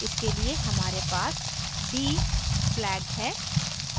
इसके लिए हमारे पास d flag है